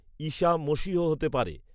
ঈসা মসীহ হতে পারে